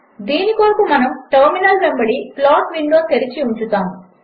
దీని కొరకు మనం టర్మినల్ వెంబడి ప్లాట్ విండో తెరచి ఉంచుతాము